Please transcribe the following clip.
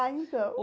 Ah, então.